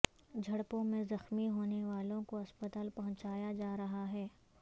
جھڑپوں میں زخمی ہونے والوں کو ہسپتال پہنچایا جا رہا ہے